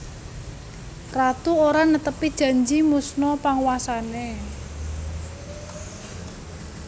Ratu ora netepi janji musna panguwasane